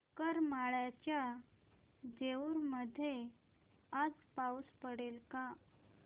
करमाळ्याच्या जेऊर मध्ये आज पाऊस पडेल का